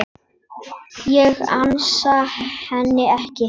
Ég ansa henni ekki.